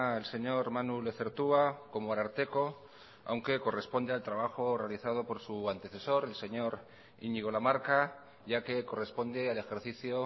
el señor manu lezertua como ararteko aunque corresponde al trabajo realizado por su antecesor el señor iñigo lamarca ya que corresponde al ejercicio